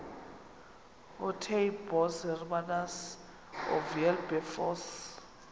ootaaibos hermanus oowilberforce